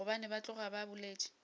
gobane ba tloga ba boletše